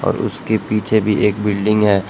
उसके पीछे भी एक बिल्डिंग है।